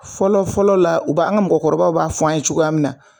Fɔlɔfɔlɔ la u b'a an ka mɔgɔkɔrɔbaw b'a fɔ an ye cogoya min na